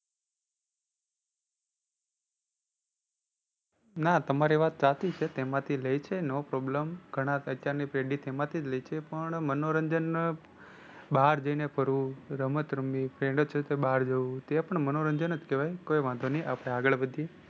ના તમારી વાત સાચી છે. તેમાંથી લે છે no problem ઘણા અત્યાર ની પેઢી તેમાંથી જ લે છે પણ મનોરંજન બહાર જઇ ને કરવું, રમત રમવી, રીતે બહાર જવું તે પણ મનોરંજન જ કેવાય. કઈ વાંધો નહીં આપણે આગળ વધીએ.